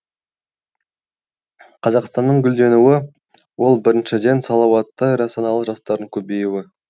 қазақстанның гүлденуі ол біріншіден салауатты әрі саналы жастардың көбеюі